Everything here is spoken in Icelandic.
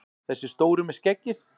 Þessi stóri með skeggið!